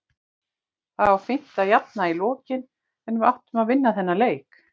Það var fínt að jafna í lokin en við áttum að vinna þennan leik.